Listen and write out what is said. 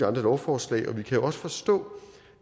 andre lovforslag og vi kan jo også forstå